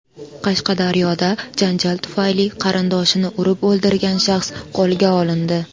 Qashqadaryoda janjal tufayli qarindoshini urib o‘ldirgan shaxs qo‘lga olindi.